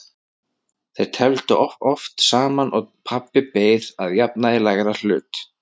Þeir tefldu oft saman og pabbi beið að jafnaði lægra hlut.